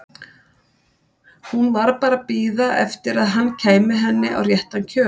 Hún var bara að bíða eftir að hann kæmi henni á réttan kjöl.